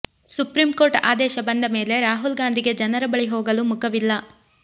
supreme court ಆದೇಶ ಬಂದ ಮೇಲೆ ರಾಹುಲ್ ಗಾಂಧಿಗೆ ಜನರ ಬಳಿ ಹೋಗಲು ಮುಖವಿಲ್ಲ